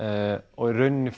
og í rauninni